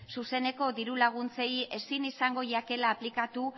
zuzeneko diru laguntzei ezin izango jakela aplikatu